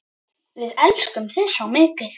Við elskum þig svo mikið.